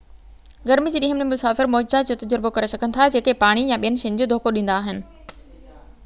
گرمي جي ڏينهن ۾، مسافر معجزات جو تجربو ڪري سگھن ٿا جيڪي پاڻي يا ٻين شين جو دوکو ڏيندا آهن